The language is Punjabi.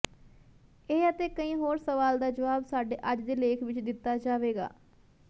ਇਹ ਅਤੇ ਕਈ ਹੋਰ ਸਵਾਲ ਦਾ ਜਵਾਬ ਸਾਡੇ ਅੱਜ ਦੇ ਲੇਖ ਵਿਚ ਦਿੱਤਾ ਜਾਵੇਗਾ